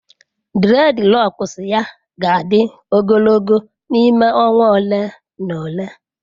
Dreadlocks ya ga-adị ogologo n'ime ọnwa ole na ole.